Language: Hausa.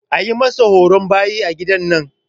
An masa horon bayi a gidan nan.